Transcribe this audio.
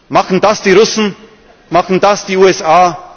muss? Machen das die Russen, machen das die